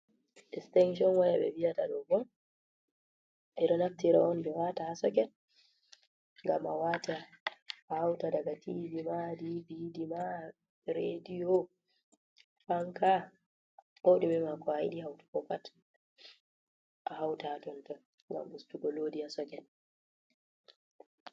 Distinction waya ɓe viyata ɗo ɓo ɓe ɗo naftira on ɓe wata ha soket, gam a wata a hauta daga Tv ma Dvd ma rediyo fanka, ko ɗumema ko ayiɗi hautu ko pat a hauta ha tonton gam ustugo loɗi ha soket.